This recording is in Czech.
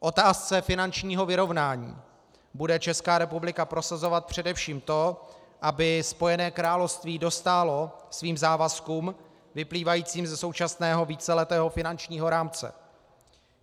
K otázce finančního vyrovnání bude Česká republika prosazovat především to, aby Spojené království dostálo svým závazkům vyplývajícím ze současného víceletého finančního rámce.